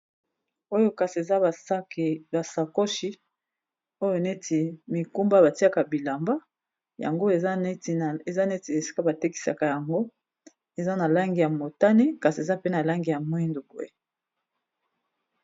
Oyo kasi eza ba sakoshi oyo neti mikumba batiaka bilamba yango eza neti esika ba tekisaka yango eza na langi ya motane kasi eza pe na langi ya mwindu boye.